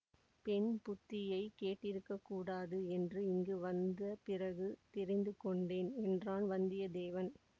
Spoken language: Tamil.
பெண் புத்தியைக் கேட்டிருக்கக்கூடாது என்று இங்கு வந்த பிறகு தெரிந்துகொண்டேன் என்றான் வந்தியத்தேவன்